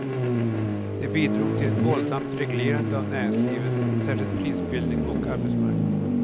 Det bidrog till ett våldsamt reglerande av näringslivet, särkskilt prisbildning och arbetsmarknad.